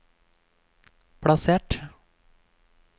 plassert